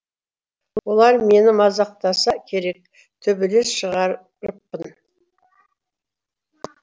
олар мені мазақтаса керек төбелес шығарыппын